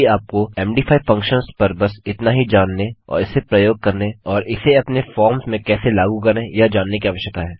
अभी आपको मद फंक्शन्स पर बस इतना ही जानने और इसे प्रयोग करने और इसे अपने फॉर्म्स में कैसे लागू करें यह जानने की आवश्यकता है